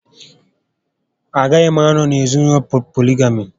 Agaghị m anọ n'ezinaụlọ polygamy